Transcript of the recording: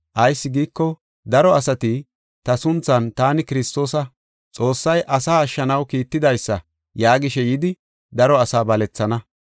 Ayis giiko, daro asati ta sunthan, ‘Taani Kiristoosa, Xoossay asaa ashshanaw kiittidaysa’ yaagishe yidi daro asaa balethana.